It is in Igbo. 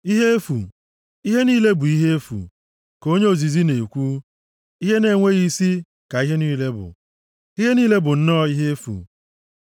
Ihe efu, ihe niile bụ ihe efu ka onye ozizi na-ekwu. Ihe na-enweghị isi + 1:2 Maọbụ, ihe efu \+xt Abụ 144:4.\+xt* ka ihe niile bụ. Ihe niile bụ nnọọ ihe efu.